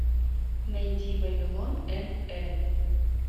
найди вавилон н э